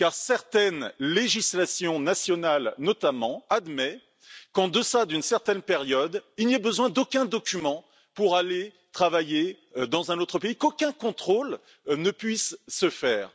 Certaines législations nationales, notamment, admettent qu'en deçà d'une certaine période, il n'y ait besoin d'aucun document pour aller travailler dans un autre pays et qu'aucun contrôle ne puisse se faire.